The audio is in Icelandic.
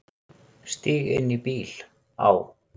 Stíg inn í bíl, á.